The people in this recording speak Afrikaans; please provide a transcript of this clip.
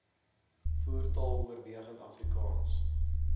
voertaal oorwegend afrikaans